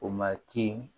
O ma ci